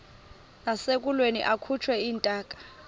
nasekulweni akhutshwe intaka